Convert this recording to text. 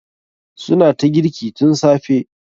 Su na ta girki tun safe.